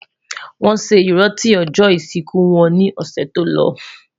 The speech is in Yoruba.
wón sé iranti ojó isiku wón ni ọsẹ tòló